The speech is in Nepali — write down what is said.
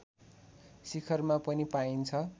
शिखरमा पनि पाइन्छ